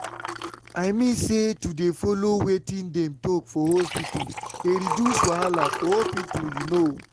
i mean say to dey follow wetin dem talk for hospita dey reduce wahala for hospital u know?